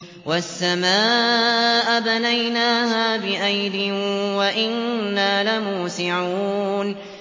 وَالسَّمَاءَ بَنَيْنَاهَا بِأَيْدٍ وَإِنَّا لَمُوسِعُونَ